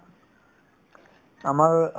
আমাৰ